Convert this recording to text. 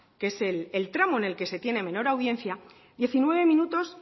que es el tramo en el que se tiene menor audiencia diecinueve minutos